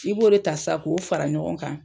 I b'o de ta sa k'o fara ɲɔgɔn kan